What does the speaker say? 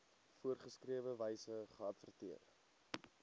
voorgeskrewe wyse geadverteer